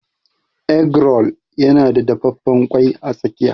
Egg roll yana da dafaffen ƙwai a tsakiya.